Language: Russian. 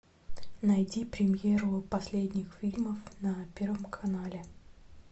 найди премьеру последних фильмов на первом канале